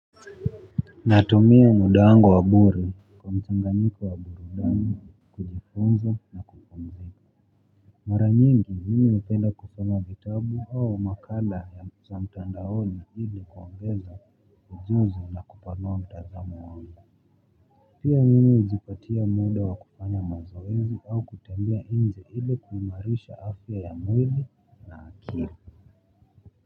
Natumia muda wangu wa bure kwa mchanganyiko wa burudani kujifunza na kuifahamu zaidi. Mara nyingi mimi napenda kusoma vitabu au makala ya mtandaoni ili kuongeza ujuzi na kupanua mtazamo wangu pia mimi hujipatia muda wa kufanya mazoezi au kutembea nje ili kuimarisha afya ya mwili na akili.